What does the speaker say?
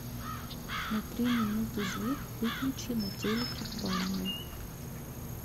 на три минуты звук выключи на телике в ванной